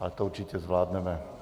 Ale to určitě zvládneme.